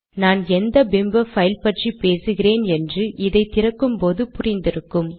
நான் எந்த பிம்ப பைல் பற்றி பேசுகிறேன் என்று இதை திறக்கும்போது புரிந்திருக்கும்